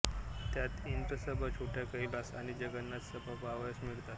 त्यात इंद्रसभा छोटा कैलास आणि जगन्नाथ सभा पाहावयास मिळतात